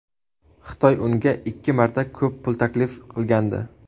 Xitoy unga ikki marta ko‘p pul taklif qilgandi.